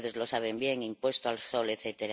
Ustedes lo saben bien impuesto al sol, etc.